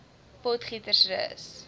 potgietersrus